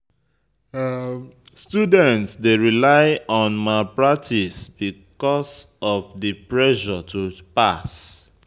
Students dey rely on malpractice because of di pressure to pass.